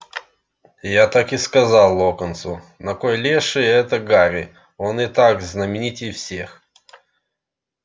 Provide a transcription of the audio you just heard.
я так и сказал локонсу на кой леший это гарри он и так знаменитей всех